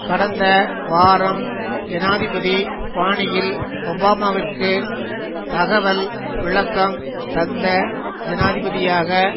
கடந்த வாரம் ஜனாதிபதி பாணியில் ஒபாமாவிற்கு தகவல் விளக்கம் தந்த ஜனாதிபதியாக